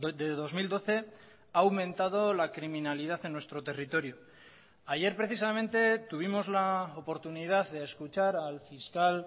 de dos mil doce ha aumentado la criminalidad en nuestro territorio ayer precisamente tuvimos la oportunidad de escuchar al fiscal